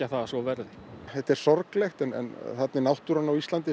að svo verði þetta er sorglegt en þarna er náttúran á Íslandi